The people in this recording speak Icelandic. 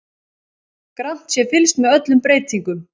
Grannt sé fylgst með öllum breytingum